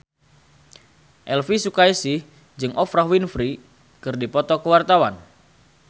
Elvy Sukaesih jeung Oprah Winfrey keur dipoto ku wartawan